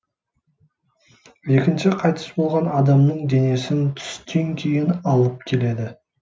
екінші қайтыс болған адамның денесін түстен кейін алып келеді